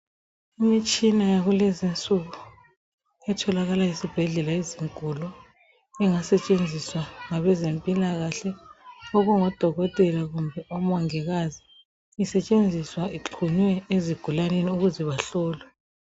Imitshina yakulezi insuku etholakala esibhedlela ezinkulu engasetshenziswa ngabezempilakahle okungodokotela kumbe omongikazi isetshenziswa ixhunywe ezigulaneni ukuze bahlolwe.